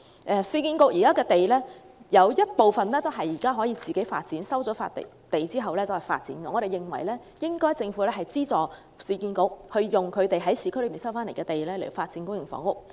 現時市建局有部分土地收回後可自行發展，我們認為政府應資助市建局利用市區的收回土地發展公營房屋。